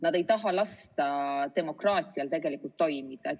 Nad ei taha lasta demokraatial tegelikult toimida.